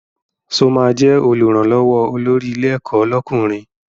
Sọ ma jẹ́ Olùrànlọ́wọ́ olórí ilé ẹ̀kọ́ lọ́kùnrin?